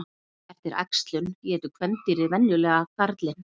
Eftir æxlun étur kvendýrið venjulega karlinn.